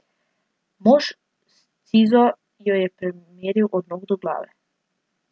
Mož s cizo jo je premeril od nog do glave.